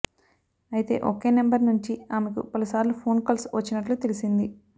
అయితే ఒకే నెంబర్ నుంచి ఆమెకు పలుసార్లు ఫోన్ కాల్స్ వచ్చినట్లు తెలిసింది